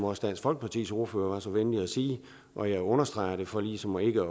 også dansk folkepartis ordfører var så venlig at sige og jeg understreger det for ligesom ikke